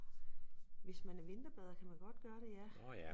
Hvis man er vinterbader kan man godt gøre det ja